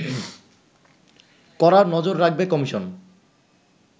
কড়া নজর রাখবে কমিশন